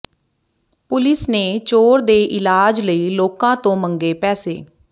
police ਨੇ ਚੋਰ ਦੇ ਇਲਾਜ ਲਈ ਲੋਕਾਂ ਤੋਂ ਮੰਗੇ ਪੈਸੇ